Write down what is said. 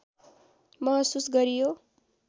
महसुस गरियो